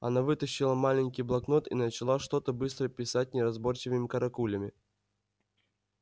она вытащила маленький блокнот и начала что-то быстро писать неразборчивыми каракулями